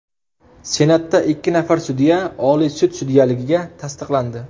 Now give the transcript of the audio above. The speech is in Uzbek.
Senatda ikki nafar sudya Oliy sud sudyaligiga tasdiqlandi.